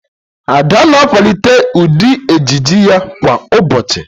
Ada na-akwalite ụdị ejiji ya kwa ụbọchị